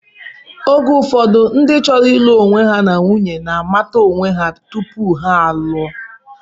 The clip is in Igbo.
Oge ụfọdụ ndị chọrọ ịlụ onwe ha na nwunye na-amata onwe ha tupu ha a lụo.